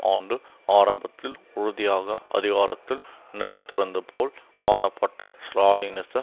ஆண்டு ஆரம்பத்தில் உறுதியாக அதிகாரத்தில் நிலைத்திருந்து போல் காணப்பட்ட ஸ்ராலினிச